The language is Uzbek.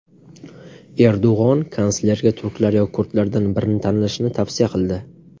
Erdo‘g‘on kanslerga turklar yoki kurdlardan birini tanlashni tavsiya qildi.